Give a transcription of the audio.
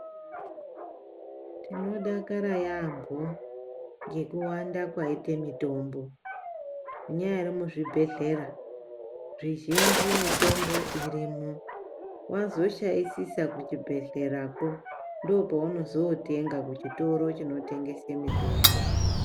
Tinodakara yaambho ngekuwanda kwaite mitombo zvinyari zvibhedhlera zvizhinji mitombo irimo wazoshaisisa kuchibhedhlerako ndopaunozootenga kuchitoro chinotengesa mitombo.